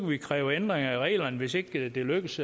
vi kræve ændringer i reglerne hvis ikke det lykkes